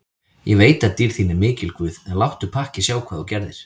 Ég veit að dýrð þín er mikil guð, en láttu pakkið sjá hvað þú gerðir.